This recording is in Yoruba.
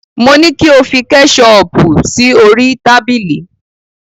Mo ní kí o fi kẹ́ṣọọ̀pù sí orí tábìlì.